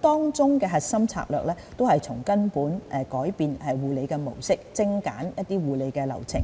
當中的核心策略，是從根本改變護理模式，精簡護理流程、